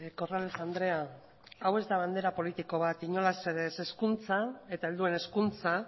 corrales andrea hau ez bandera politiko bat inolaz ere ez hezkuntza eta helduen hezkuntza